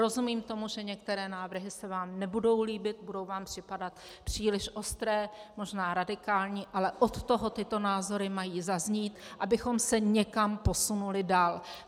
Rozumím tomu, že některé návrhy se vám nebudou líbit, budou vám připadat příliš ostré, možná radikální, ale od toho tyto názory mají zaznít, abychom se někam posunuli dál.